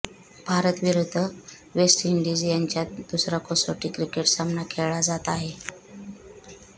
भारत विरुद्ध वेस्टइंडीज यांच्यात दुसरा कसोटी क्रिकेट सामना खेळला जात आहे